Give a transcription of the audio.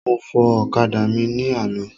Mo fọ ọ̀kadà mi ní àná.